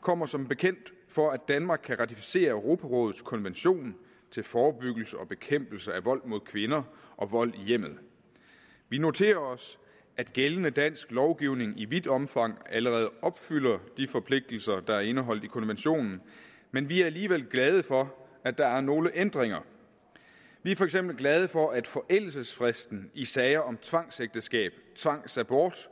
kommer som bekendt for at danmark kan ratificere europarådets konvention til forebyggelse og bekæmpelse af vold mod kvinder og vold i hjemmet vi noterer os at gældende dansk lovgivning i vidt omfang allerede opfylder de forpligtelser der er indeholdt i konventionen men vi er alligevel glade for at der er nogle ændringer vi er for eksempel glade for at forældelsesfristen i sager om tvangsægteskab tvangsabort